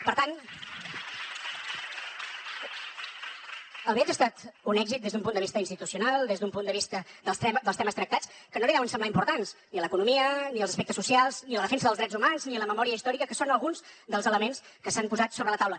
per tant el viatge ha estat un èxit des d’un punt de vista institucional des d’un punt de vista dels temes tractats que no li deuen semblar importants ni l’economia ni els aspectes socials ni la defensa dels drets humans ni la memòria històrica que són alguns dels elements que s’han posat sobre la taula